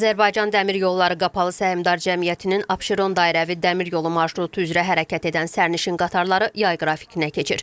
Azərbaycan Dəmir Yolları Qapalı Səhmdar Cəmiyyətinin Abşeron dairəvi dəmir yolu marşrutu üzrə hərəkət edən sərnişin qatarları yay qrafikinə keçir.